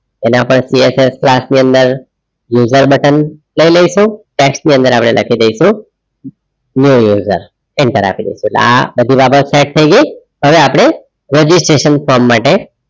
એને આપડે CSS class ની અંદર user button લઈ લઈશું text ની અંદર આપડે લખી દઇશું new userenter આપી દઇશું એટલે આ બધી રામાયણ set થઈ ગઈ હવે આપડે ragistration form માટે,